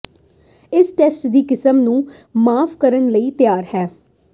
ਇਸ ਟੈਸਟ ਦੀ ਕਿਸਮ ਨੂੰ ਮਾਫ਼ ਕਰਨ ਲਈ ਤਿਆਰ ਹੈ